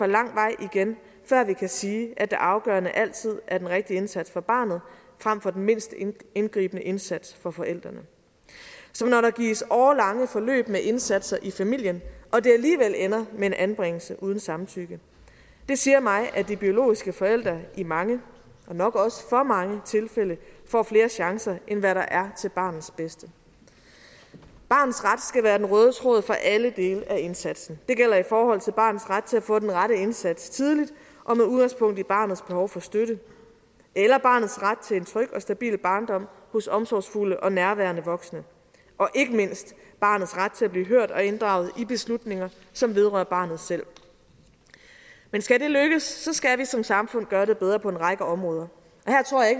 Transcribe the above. lang vej igen før vi kan sige at det afgørende princip altid er den rigtige indsats for barnet frem for den mindst indgribende indsats for forældrene som når der gives årelange forløb med indsatser i familien og det alligevel ender med en anbringelse uden samtykke det siger mig at de biologiske forældre i mange og nok også i for mange tilfælde får flere chancer end hvad der er til barnets bedste barnets ret skal være den røde tråd for alle dele af indsatsen det gælder i forhold til barnets ret til at få den rette indsats tidligt og med udgangspunkt i barnets behov for støtte og barnets ret til en tryg og stabil barndom hos omsorgsfulde og nærværende voksne og ikke mindst barnets ret til at blive hørt og inddraget i beslutninger som vedrører barnet selv men skal det lykkes skal vi som samfund gøre det bedre på en række områder